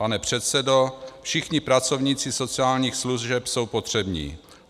Pane předsedo, všichni pracovníci sociálních služeb jsou potřební.